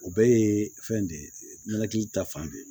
O bɛɛ ye fɛn de ye ninakili ta fan de ye